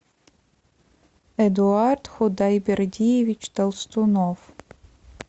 эдуард худайбердиевич толстунов